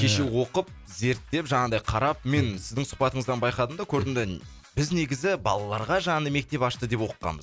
кеше оқып зерттеп жаңағыдай қарап мен сіздің сұхбатыңыздан байқадым да көрдім да біз негізі балаларға жаңағы мектеп ашты деп оқығанбыз